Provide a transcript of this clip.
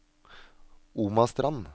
Omastrand